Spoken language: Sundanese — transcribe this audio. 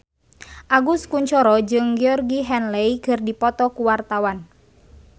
Agus Kuncoro jeung Georgie Henley keur dipoto ku wartawan